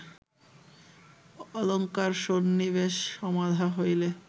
অলঙ্কারসন্নিবেশ সমাধা হইলে